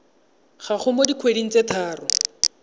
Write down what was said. gago mo dikgweding tse tharo